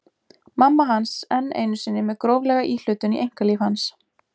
Mamma hans enn einu sinni með gróflega íhlutun í einkalíf hans!